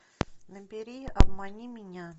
набери обмани меня